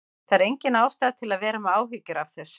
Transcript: Það er engin ástæða til að vera með áhyggjur af þessu.